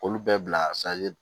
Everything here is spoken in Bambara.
Olu bɛɛ bila